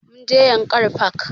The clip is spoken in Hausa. Mun je yankari park